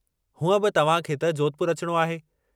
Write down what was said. हूंअं बि तव्हां खे त जोधपुर अचणो आहे।